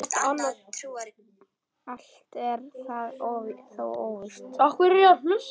Allt er það þó óvíst.